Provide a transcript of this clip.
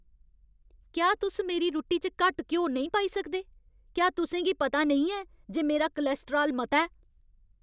क्या तुस मेरी रुट्टी च घट्ट घ्यो नेईं पाई सकदे? क्या तुसें गी पता नेईं ऐ जे मेरा कोलेस्ट्राल मता ऐ?